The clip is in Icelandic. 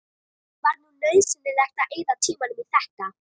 Þetta er ráðlagt vegna hugsanlegrar örverumengunar í kjötinu.